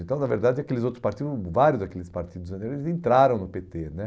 Então, na verdade, aqueles outros parti, vários daqueles partidos eles entraram no pê tê né